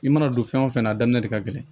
I mana don fɛn wo fɛn na a daminɛ de ka gɛlɛn